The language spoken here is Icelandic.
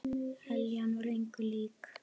Eljan var engu lík.